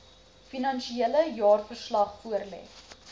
finansiële jaarverslag voorlê